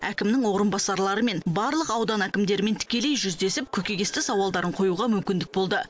әкімнің орынбасарлары мен барлық аудан әкімдерімен тікелей жүздесіп көкейкесті сауалдарын қоюға мүмкіндік болды